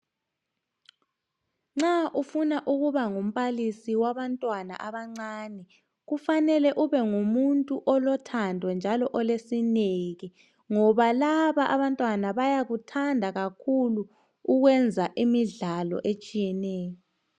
Nxa ufuna ukuba ngumbalisi wabantwana abancane .Kufanele ube ngumuntu olothando njalo olesineke ngoba laba abantwana bayakuthanda kakhulu ukwenza imidlalo etshiyeneyo